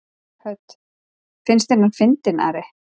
Hödd: Finnst þér hann fyndinn, Ari?